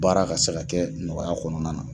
U baara ka se ka kɛ nɔgɔya kɔnɔna na.